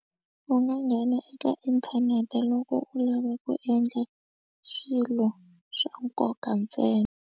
U nga nghena eka inthanete loko u lava ku endla swilo swa nkoka ntsena.